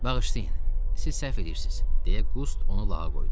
Bağışlayın, siz səhv eləyirsiz, deyə Qust onu lağa qoydu.